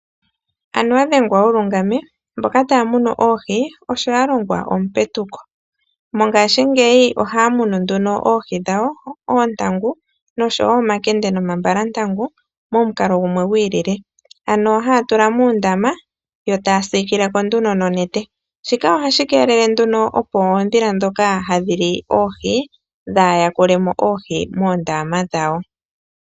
Anuwa dhengwa wu lungame. Mboka taya munu oohi osho ya longwa omupetuko. Mongaashingeyi ohaya munu nduno oohi dhawo, oontangu noshowo omakende nomambalantangu momukalo gumwe gwi ilile, ano haya tula moondama yo taya siikile ko nduno nonete. Shika ohashi keelele, opo oondhila ndhoka hadhi li oohi dhaa yakule mo oohi moondama dhawo.